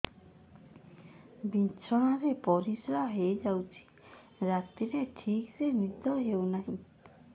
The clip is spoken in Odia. ବିଛଣା ରେ ପରିଶ୍ରା ହେଇ ଯାଉଛି ରାତିରେ ଠିକ ସେ ନିଦ ହେଉନାହିଁ